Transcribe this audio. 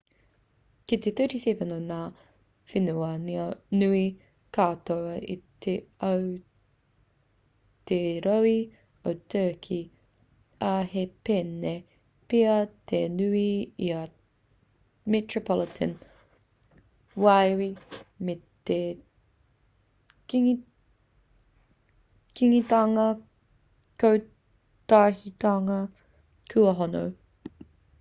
kei te 37 o ngā whenua nui katoa o te ao te rohe o turkey ā he pēnei pea te nui i a metropolitan wīwi me te kingitanga kotahitanga kua hono